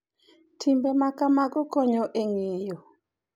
Timbe ma kamago konyo e ng’eyo .